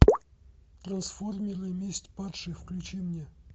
трансформеры месть падших включи мне